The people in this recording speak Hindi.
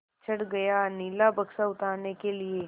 चढ़ गया नीला बक्सा उतारने के लिए